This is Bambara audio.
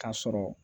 K'a sɔrɔ